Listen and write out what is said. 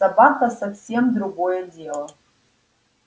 собака совсем другое дело